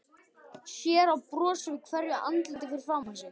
Sér bros á hverju andliti fyrir framan sig.